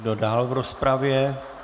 Kdo dál v rozpravě?